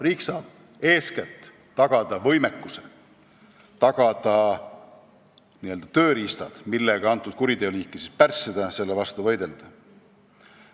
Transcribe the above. Riik saab eeskätt tagada võimekuse, tagada n-ö tööriistad, millega seda kuriteoliiki pärssida ja selle vastu võidelda.